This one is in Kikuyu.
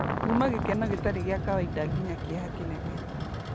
kuuma gĩkeno gĩtarĩ gĩa kawaida nginya kĩeha kĩnene.